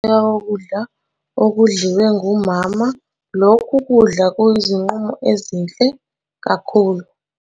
Ngoba ubisi lwebele luthatha ukunambitheka kokudla okudliwe ngumama, lokhu kudla kuyizinqumo ezinhle kakhulu.